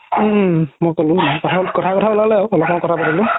উম উম উম মই ক'লো কথাই কথাই উলালে আৰু অলপমান কথা পাতিলো